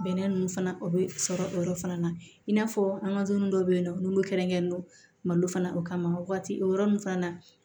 Bɛnɛ nunnu fana o bɛ sɔrɔ o yɔrɔ fana na i n'a fɔ an ka dumuni dɔw bɛ yen nɔ n'olu kɛrɛnkɛrɛnnen don malo fana o kama waati o yɔrɔ ninnu fana na